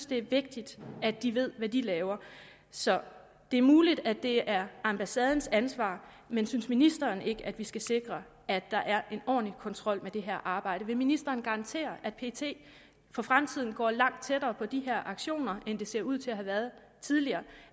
det er vigtigt at de ved hvad de laver så det er muligt at det er ambassadens ansvar men synes ministeren ikke at vi skal sikre at der er en ordentlig kontrol med det her arbejde vil ministeren garantere at pet for fremtiden går langt tættere på de her aktioner end de ser ud til at have været tidligere og